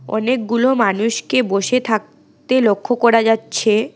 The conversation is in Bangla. অনেকগুলো মানুষকে বসে থাকতে লক্ষ করা যাচ্ছে।